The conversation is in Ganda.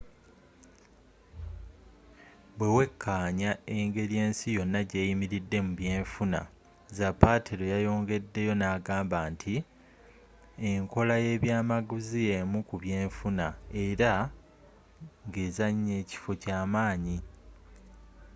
bwewekaanya engeri ensi yonna gyeyimiriddemu mu byenfuna zapatero yayongedeyo ngagamba nti enkola yebyamaguzi yemu kubyenfuna era ngezanya ekifo kyamaanyi